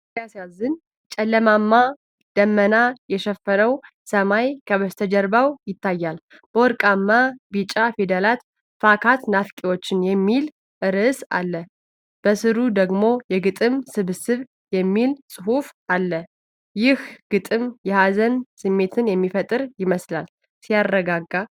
ሲያሳዝን! ጨለማማ ደመና የሸፈነው ሰማይ ከበስተጀርባ ይታያል። በወርቃማ ቢጫ ፊደላት 'ፍካት ናፋቂዎች' የሚል ርዕስ አለ። በሥሩ ደግሞ 'የግጥም ስብስብ' የሚል ጽሑፍ አለ። ይህ ግጥም የሀዘን ስሜት የሚፈጥር ይመስላል። ሲያረጋጋ!